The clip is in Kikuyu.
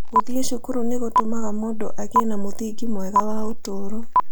Gũthiĩ cukuru nĩ gũtũmaga mũndũ agĩe na mũthingi mwega wa ũtũũro.